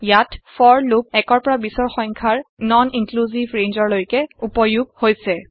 ইয়াত for loop ১ৰ পৰা ২০ৰ সংখ্যাৰ নন ইন্ক্লিউচিভ ৰেঞ্জ লৈকে উপয়োগ হৈছে